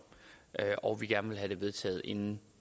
og at vi gerne vil have det vedtaget inden